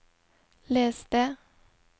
les det